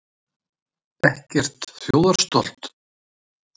Ekkert þjóðarstolt?